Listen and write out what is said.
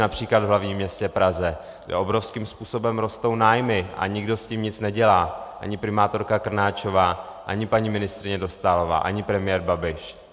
Například v hlavním městě Praze obrovským způsobem rostou nájmy a nikdo s tím nic nedělá, ani primátorka Krnáčová, ani paní ministryně Dostálová, ani premiér Babiš.